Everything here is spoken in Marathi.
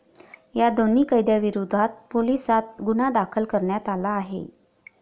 या दोन्ही कैद्यांविरोधात पोलिसांत गुन्हा दाखल करण्यात आला आहे.